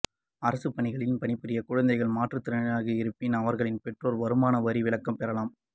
அரசு பணிகளில் பணிபுரியும் குழந்தைகள் மாற்றுதிறனாளியாக இருப்பின் அவர்களின் பெற்றோர் வருமான வரி விலக்கு பெறலாம்